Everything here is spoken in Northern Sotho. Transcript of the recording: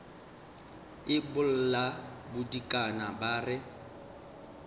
e bolla bodikana ba re